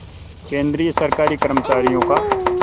केंद्रीय सरकारी कर्मचारियों का